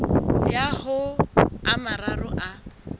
ya ho a mararo a